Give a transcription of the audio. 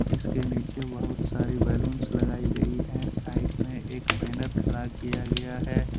इसके नीचे बहुत सारी बैलूंस लगाई गई है साइड में एक बैनर खड़ा किया गया है।